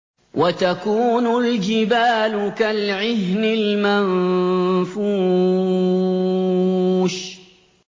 وَتَكُونُ الْجِبَالُ كَالْعِهْنِ الْمَنفُوشِ